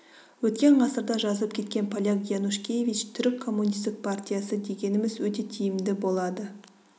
өткен ғасырда жазып кеткен поляк янушкевич түрік комунистік партиясы дегеніміз өте тиімді болады